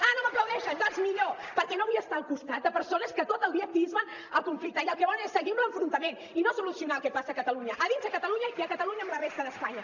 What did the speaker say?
ah no m’aplaudeixen doncs millor perquè no vull estar al costat de persones que tot el dia atien el conflicte i el que volen és seguir amb l’enfrontament i no solucionar el que passa a catalunya a dins de catalunya i a catalunya amb la resta d’espanya